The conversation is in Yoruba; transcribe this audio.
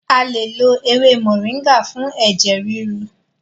A lè lo ewé moringa fún ẹ̀jẹ̀ ríru.